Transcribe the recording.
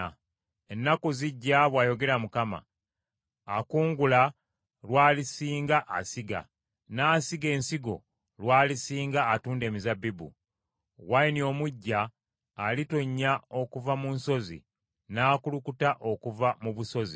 “Ennaku zijja,” bw’ayogera Mukama , “akungula lw’alisinga asiga, n’asiga ensigo lw’alisinga atunda emizabbibu. Wayini omuggya alitonnya okuva mu nsozi, n’akulukuta okuva mu busozi.